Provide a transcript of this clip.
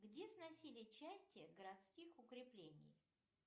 где сносили части городских укреплений